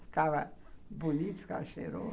Ficava bonito, ficava cheiroso.